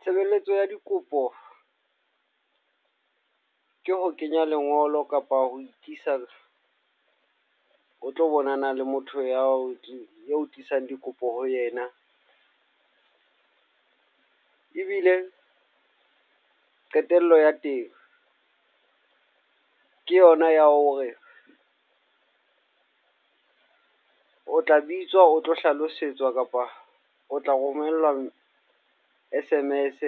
Tshebeletso ya dikopo ke ho kenya lengolo kapa ho ikisa, o tlo bonana le motho ya ho e ho tlisang dikopo ho yena. Ebile qetello ya teng ke yona ya hore o tla bitswa o tlo hlalosetswa kapa o tla romellwa S_M_S